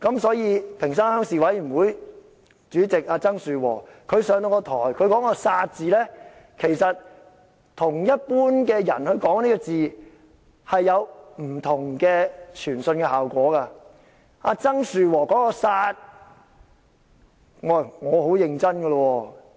所以，屏山鄉鄉事委員會主席曾樹和在台上說"殺"字，其實與一般人說這個字，所傳達的效果並不相同。